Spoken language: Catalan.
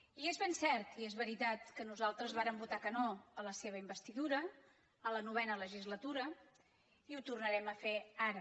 i és ben cert i és veritat que nosaltres vàrem votar que no a la seva investidura en la novena legislatura i que ho tornarem a fer ara